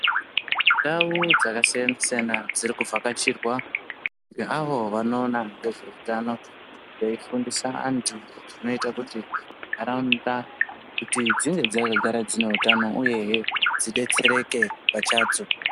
Ndau dzakasiya siyana dziri kuvhakachirwa ngeavo vanoona ngezveutano veifundisa antu zvinoita kuti ntaraunda kuti dzinge dzakagara dzine utano uyehe dzidetsereke pachadzo.